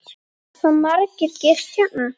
Hafa margir gist hérna?